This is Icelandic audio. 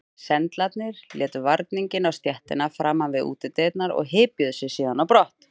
Sendlarnir létu varninginn á stéttina framan við útidyrnar og hypjuðu sig síðan á brott.